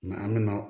an bɛna